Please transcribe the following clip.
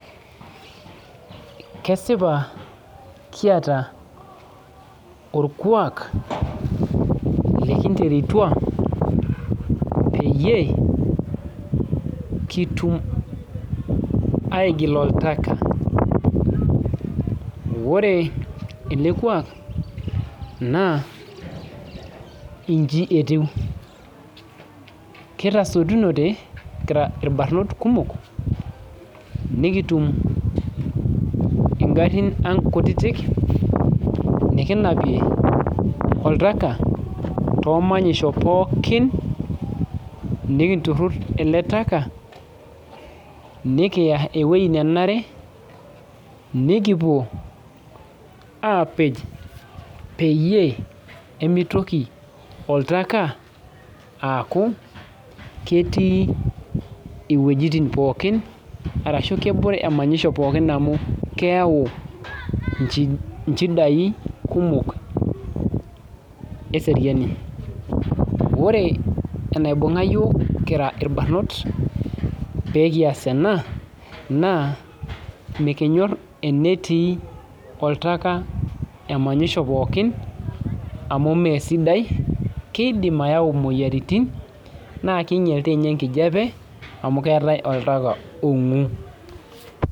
Kesipa kiata orkuak lekinterutua peyie kitum aigil oltaka ore ele kuak naa inji etiu kitasotunote kira irbarnot kumok nikitum ingarrin ang kutitik nikinapie oltaka tomanyisho pookin nikinturrur ele taka nikiya ewueji nenare nikipuo aapej peyie emitoki oltaka aaku ketii iwuejitin pookin arashu kebore emanyisho pookin amu keyau inji inchidai kumok eseriani ore enaibung'a iyiok kira irbarnot pee kias ena naa mikinyorr enetii oltaka emanyisho pookin amu mesidai keidim ayau imoyiaritin naa kinyial tinye enkijiape amu keetae oltaka ong'u.